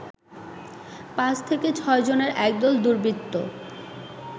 ৫ থেকে ৬ জনের একদল দুর্বৃত্ত